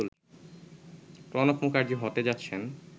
প্রণব মুখার্জি হতে যাচ্ছেন